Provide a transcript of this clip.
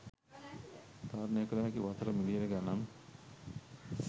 තරනය කල හැකි වසර මිලියන ගනන්